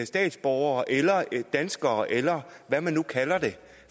statsborgere eller danskere eller hvad man nu kalder dem